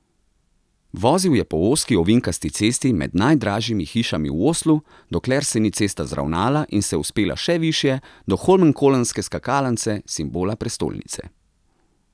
Vozil je po ozki, ovinkasti cesti med najdražjimi hišami v Oslu, dokler se ni cesta zravnala in se vzpela še višje, do holmenkollnske skakalnice, simbola prestolnice.